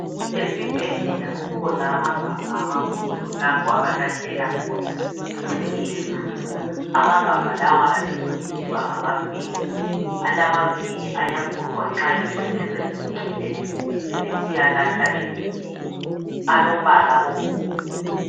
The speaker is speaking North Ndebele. Esibhedlela kukhona amagabha amakhulu lapho abalahlela khona ingcekeza amagabha lawa abizwa kuthiwa ngama bin alamavili ayafuqwa nxa ingcekeza isigcwele sebesiya lahla egodini alombala obomvu.